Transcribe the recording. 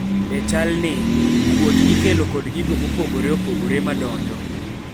e chal ni, kuot ikelo kod gigo mopogore opogore ma donjo